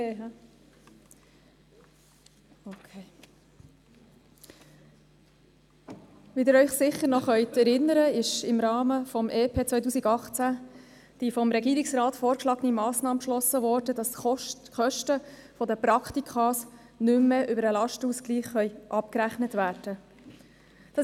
Sie können sich sicher noch an die vom Regierungsrat vorgeschlagene Massnahme erinnern, dass im Rahmen des EP 2018 Kosten für Praktika nicht mehr über den Lastenausgleich abgerechnet werden können.